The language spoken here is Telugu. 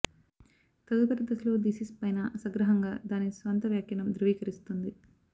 తదుపరి దశలో థీసిస్ పైన సంగ్రహంగా దాని స్వంత వ్యాఖ్యానం ధ్రువీకరిస్తుంది